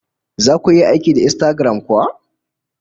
Zaku iya aiki da Instagram kuwa?